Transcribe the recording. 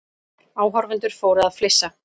Áhorfendur fóru að flissa.